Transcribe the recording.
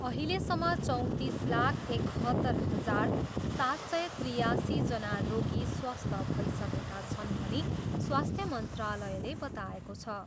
अहिलेसम्म चौँतिसलाख एकहत्तर हजार सात सय त्रियासीजना रोगी स्वस्थ्य भइसकेका छन् भनी स्वास्थ्य मन्त्रालयले बताएको छ।